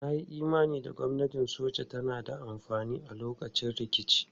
Na yi imanin gwamnatin soja tana da amfani a lokacin rikici.